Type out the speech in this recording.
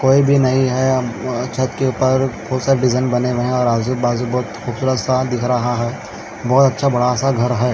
कोई भी नहीं है अब छत के ऊपर बहोत सारे डिजाइन बने हुए हैं और आजूबाजू बहोत खूबसूरत सा दिख रहा हैं बहोत अच्छा सा बढ़ा सा घर हैं ।